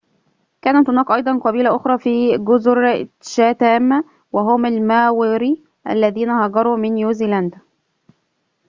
كانت هناك أيضاً قبيلة أخرى في جزر تشاتام وهم الماوري الذين هاجروا من نيوزيلندا